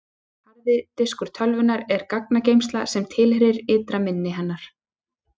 harði diskur tölvunnar er gagnageymsla sem tilheyrir ytra minni hennar